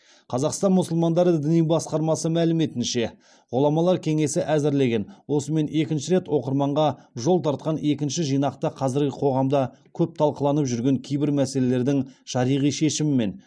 қазақстан мұсылмандары діни басқармасы мәліметінше ғұламалар кеңесі әзірлеген осымен екінші рет оқырманға жол тартқан екінші жинақта қазіргі қоғамда көп талқыланып жүрген кейбір мәселелердің шариғи шешімі мен